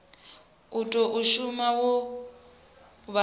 u tou thoma wo vha